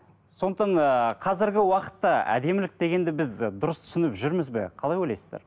сондықтан ы қазіргі уақытта әдемілік дегенді біз дұрыс түсініп жүрміз бе қалай ойлайсыздар